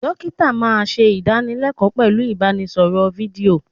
Dókítà máa ń ṣe idanilekoo pẹ̀lú ibanisoro fídíò.